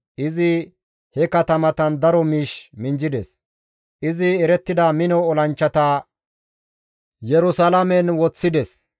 Izi he katamatan daro miish minjjides. Izi erettida mino olanchchata Yerusalaamen woththides.